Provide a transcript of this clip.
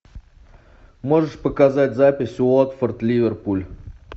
можешь показать запись уотфорд ливерпуль